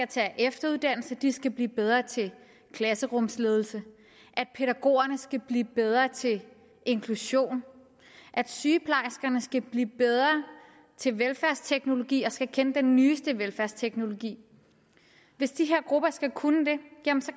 tage efteruddannelse at de skal blive bedre til klasserumsledelse at pædagogerne skal blive bedre til inklusion at sygeplejerskerne skal blive bedre til velfærdsteknologi og skal kende den nyeste velfærdsteknologi hvis de her grupper skal kunne det